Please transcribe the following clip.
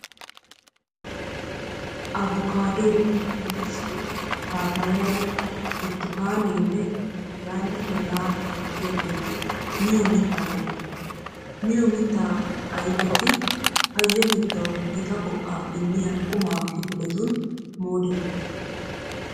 Avokkkaaddoy, muuzee, paappayay, burttukaaneenne hegaanne hegaa milatiyaageeti miyo mittaa ayfeta. Miyo mittaa ayfeti payyatettawu gita go"aa immiya qumaa kifiletun moodettoosona.